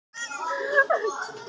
Eins og kom fram á